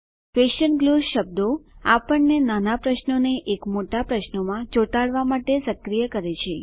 question glue શબ્દો આપણને નાનાં પ્રશ્નોને એક મોટા પ્રશ્નમાં ચોટાડવા માટે સક્રીય કરે છે